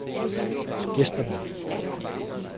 gæsterne